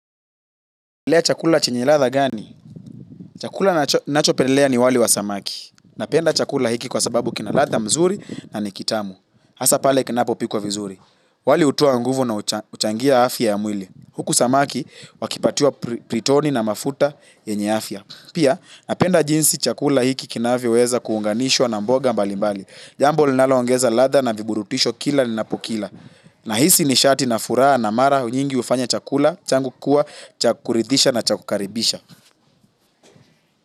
Chakula chenye ladha gani? Chakula ninachopendelea ni wali wa samaki. Napenda chakula hiki kwa sababu kina ladha mzuri na ni kitamu. Hasa pale kinapopikwa vizuri. Wali hutoa nguvu na huchangia afya ya mwili. Huku samaki wakipatiwa pritoni na mafuta yenye afya. Pia, napenda jinsi chakula hiki kinavyoweza kuunganishwa na mboga mbali mbali. Jambo linaloongeza ladha na viburutisho kila ninapokila. Nahisi nishati na furaha na mara nyingi hufanya chakula. Changu kuwa cha kuridisha na cha kukaribisha.